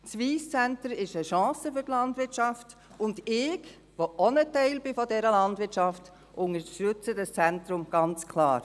Das Wyss Centre ist eine Chance für die Landwirtschaft, und ich, die auch ein Teil dieser Landwirtschaft bin, unterstütze dieses Zentrum ganz klar.